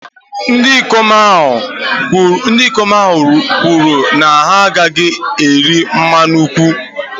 ndị ikom ahụ kwuru na ha agaghị ewere mmanya nkwụ